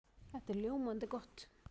Það er ljómandi gott!